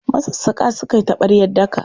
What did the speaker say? Masassaƙa suka yi taɓaryar daka.